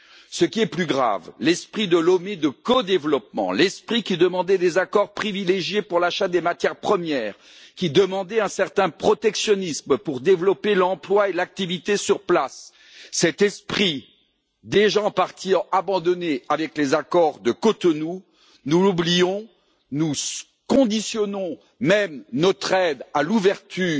Ce qui est plus grave, l'esprit de Lomé axé sur le co développement, qui demandait des accords privilégiés pour l'achat des matières premières, qui demandait un certain protectionnisme pour développer l'emploi et l'activité sur place, cet esprit, déjà en partie abandonné avec les accords de Cotonou, nous l'oublions et conditionnons même notre aide à l'ouverture